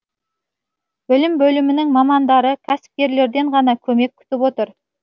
білім бөлімінің мамандары кәсіпкерлерден ғана көмек күтіп отыр